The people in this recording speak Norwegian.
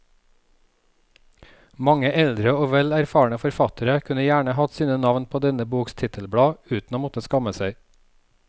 Mange eldre og vel erfarne forfattere kunne gjerne hatt sine navn på denne boks titelblad uten å måtte skamme seg.